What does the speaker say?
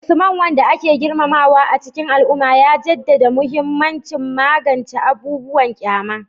Usman, wanda ake girmamawa a cikin al'umma, ya jaddada mahimmancin magance abubuwan kyama